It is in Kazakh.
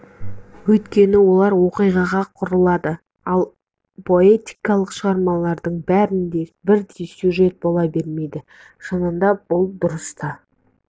өйткені олар оқиғаға құрылады ал поэтикалық шығармалардың бәрінде бірдей сюжет бола бермейді шынында бұл дұрыс та